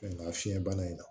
Nka fiɲɛ bana in na